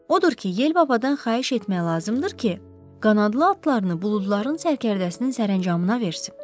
Odur ki, Yel babadan xahiş etmək lazımdır ki, qanadlı atlarını buludların sərkərdəsinin sərəncamına versin.